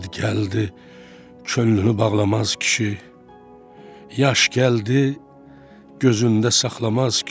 Dərd gəldi könlünü bağlamaz kişi, yaş gəldi gözündə saxlamaz kişi.